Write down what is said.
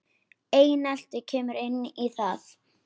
Einelti kemur inn í það.